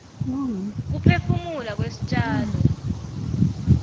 kuphefumula kwestjalo